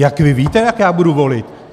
Jak vy víte, jak já budu volit?